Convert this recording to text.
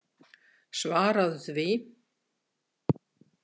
Svaraðu því!